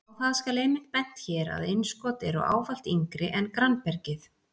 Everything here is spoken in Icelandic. Á það skal einmitt bent hér að innskot eru ávallt yngri en grannbergið.